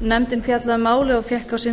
nefndin fjallaði um málið og fékk á sinn